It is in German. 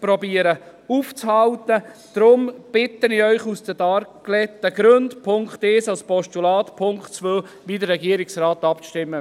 Aus den dargelegten Gründen bitte ich Sie, den Punkt 1 als Postulat anzunehmen und beim Punkt 2 wie der Regierungsrat abzustimmen.